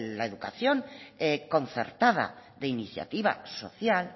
la educación concertada de iniciativa social